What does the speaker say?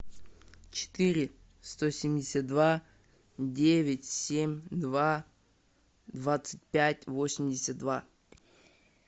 четыре сто семьдесят два девять семь два двадцать пять восемьдесят два